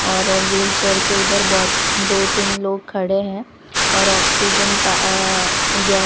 और व्हीलचेयर के इधर बहोत दो तीन लोग खड़े हैं और ऑक्सीजन प अ ओ गै--